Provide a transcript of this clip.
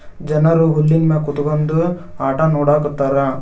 ಜನರು ಹುಲ್ಲಿನ ಮ್ಯಾಗ್ ಕುತ್ಕೊಂಡು ಆಟ ನೋಡಾಕತ್ತಾರ.